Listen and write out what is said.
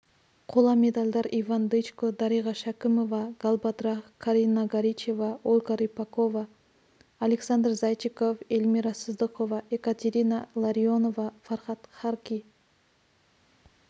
қола медальдар иван дычко дариға шәкімова галбадрах карина горичева ольга рыпакова александр зайчиков элмира сыздықова екатерина ларионова фархад харки